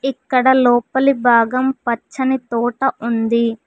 ఇక్కడ లోపలి భాగం పచ్చని తోట ఉంది.